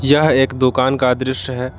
यह एक दुकान का दृश्य है।